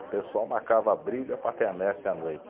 O pessoal marcava briga para a quermesse à noite.